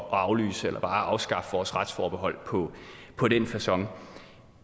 at aflyse eller bare afskaffe vores retsforbehold på den facon